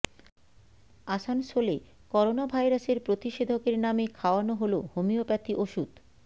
আসানসোলে করোনা ভাইরাসের প্রতিষেধকের নামে খাওয়ানো হলো হোমিওপ্যাথি ওষুধ